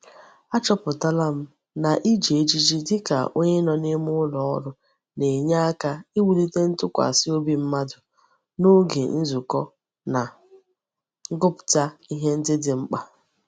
Achoputala m na Iji ejiji dika onye no n'ime ulo oru na-enye aka iwulite ntukwasi obi mmadu n'oge nzuko na ngupta ihe ndi di mkpa.